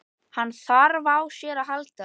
Hann þarf á þér að halda.